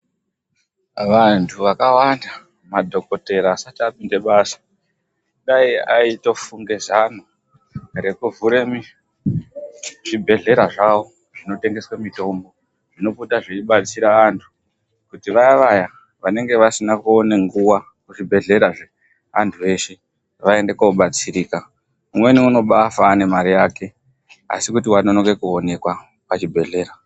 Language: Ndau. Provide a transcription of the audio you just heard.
Vantu vakawanda, madhokotera asati apinda basa, dai aitofunga zano rekuvhura zvibhedhlera zvavo zvinotengesa mitombo ,zvinopota zveibatsira antu kuti vaya vaya vanenge vasina kuona nguwa muzvibhedhlera zveantu eshe vaende kobatsirika. Umweni unobaafa ane mare yake asi kuti wanonoka kuonekwa pachibhedhlera.